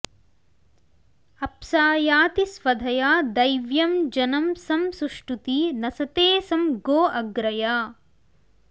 अप्सा याति स्वधया दैव्यं जनं सं सुष्टुती नसते सं गोअग्रया